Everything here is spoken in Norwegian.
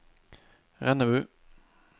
Rennebu